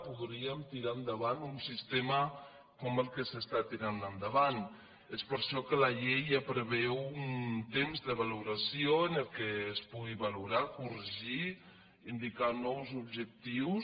podríem tirar endavant un sistema com el que s’està tirant endavant és per això que la llei ja preveu un temps de valoració en el qual es pugui valorar corregir indicar nous objectius